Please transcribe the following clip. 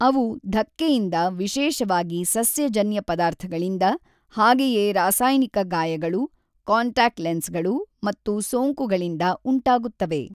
ಅವು ಧಕ್ಕೆಯಿಂದ , ವಿಶೇಷವಾಗಿ ಸಸ್ಯಜನ್ಯ ಪದಾರ್ಥಗಳಿಂದ, ಹಾಗೆಯೇ ರಾಸಾಯನಿಕ ಗಾಯಗಳು, ಕಾಂಟ್ಯಾಕ್ಟ್ ಲೆನ್ಸ್‌ಗಳು ಮತ್ತು ಸೋಂಕುಗಳಿಂದ ಉಂಟಾಗುತ್ತವೆ.